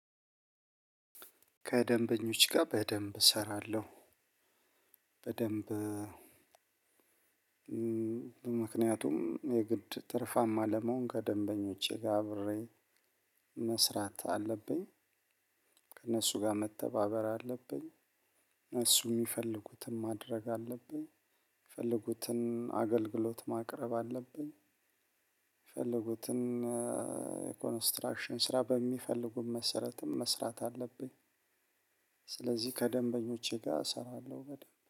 ከደንበኞች ጋር በደንብ እሰራለሁ። በደንብ ምክንያቱም የግድ ትርፋማ ለመሆን ከደንበኞቼ ጋር አብሬ መስራት አለብኝ። ከእነሱ ጋር መተባበር አለብኝ። እነሱ የሚፈልጉትን ማድረግ አለብኝ። የፈለጉትን አገልግሎት ማቅረብ አለብኝ። የፈለጉትን ኮንስትራክሽን ስራ በሚፈልጉት መሰረትም መስራት አለብኝ። ስለዚህ ከደንበኞቼ ጋር እሰራለሁ በደንብ